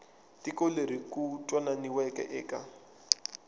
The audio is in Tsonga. tiko leri ku twananiweke eka